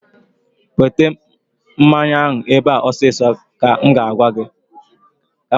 Weta mmanya ebe a ọsọ ọsọ! ka m ga-agwa ha.